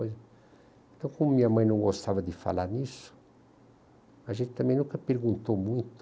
Então, como minha mãe não gostava de falar nisso, a gente também nunca perguntou muito.